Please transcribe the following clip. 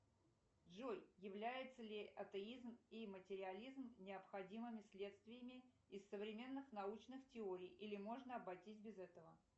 джой является ли атеизм и материализм необходимыми следствиями из современных научных теорий или можно обойтись без этого